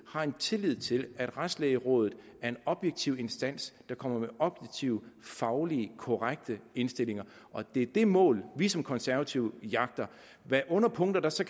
har en tillid til at retslægerådet er en objektiv instans der kommer med objektive fagligt korrekte indstillinger og det er det mål vi som konservative jagter hvilke underpunkter der så